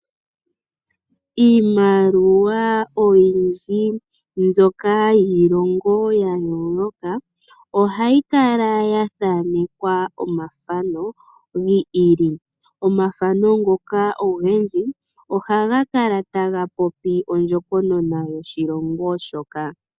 Iimaliwa oyindji mbyoka yiilongo ya yooloka ohayi kala ya thaanekwa omathano gi ili. Omathano ngoka ogendji ohaga kala taga popi ondjokonona yoshilongo shoka.